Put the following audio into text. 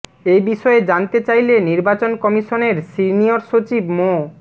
এ বিষয়ে জানতে চাইলে নির্বাচন কমিশনের সিনিয়র সচিব মো